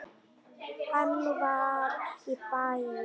Hann fer í bæinn!